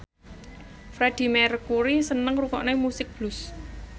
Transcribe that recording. Freedie Mercury seneng ngrungokne musik blues